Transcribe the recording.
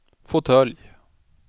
fåtölj